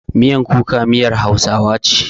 Miyan kuka miyar Hausawa ce.